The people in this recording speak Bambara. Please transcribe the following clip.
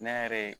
Ne yɛrɛ ye